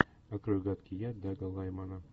открой гадкий я дага лаймана